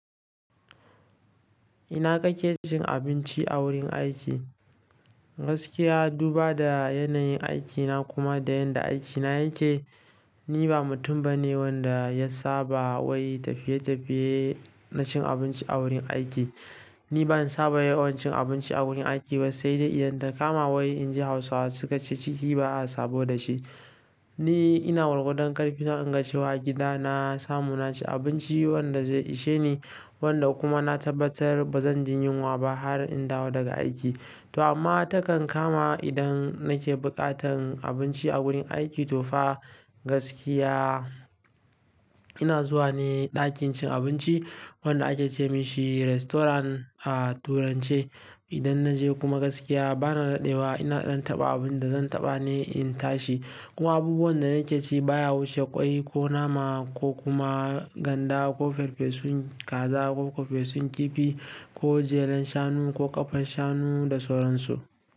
Ina kake cin abinci a wurin aiki. Gaskiya, duba da yanayin aikina kuma da yadda aikina yake, ni ba mutum bane wanda ya saba wai tafiye-tafiye na cin abinci a wurin aiki. Ni ban saba yi wa cin abinci a wurin aiki ba sai dai idan ta kama wai in je Hausawa suka ce ciki ba a sabo da shi. Ni ina gwargwadon ƙarfi na inga cewa gida na samu naci abinci wanda zai ishe ni, wanda kuma na tabbatar ba zan jin yunwa ba har in dawo daga aiki. To amma takan kama idan nake buƙatan abinci a wurin aiki to fa gaskiya ina zuwa ne ɗakin cin abinci wanda ake ce masa restaurant a Turance. Idan na je kuma gaskiya bana daɗewa, ina in taɓa abin da zan taɓa ne in tashi. Kuma abubuwan da nake ci baya wuce ƙwai ko nama ko kuma ganda ko farfesun kaza ko farfesun kifi ko jelar shanu ko ƙafar shanu da sauran su.